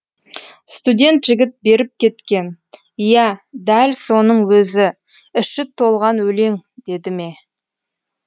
студент жігіт беріп кеткен иә дәл соның өзі іші толған өлең деді ме